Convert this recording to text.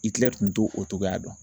Itilɛri tun to o cogoya dɔn